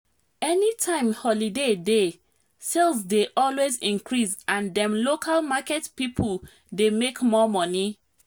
any time holiday dey sales dey always increase and dem local market people dey make more money